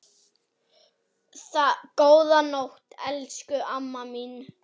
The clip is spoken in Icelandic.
Góða nótt, elsku amma mín.